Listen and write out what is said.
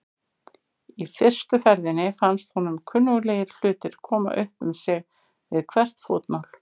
Í fyrstu ferðinni fannst honum kunnuglegir hlutir koma upp um sig við hvert fótmál.